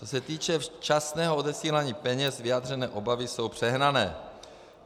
Co se týče včasného odesílání peněz, vyjádřené obavy jsou přehnané.